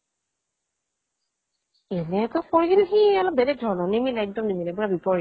এনেটো কৰে সি অলপ বেলেগ ধৰনৰ নিমিলে একডম নিমিলে পুৰা বিপৰীত